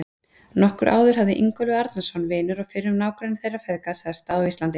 Nokkru áður hafði Ingólfur Arnarson, vinur og fyrrum nágranni þeirra feðga, sest að á Íslandi.